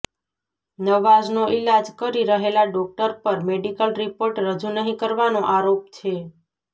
નવાઝનો ઈલાજ કરી રહેલાં ડોકટર પર મેડિકલ રિપોર્ટ રજૂ નહીં કરવાનો આરોપ છે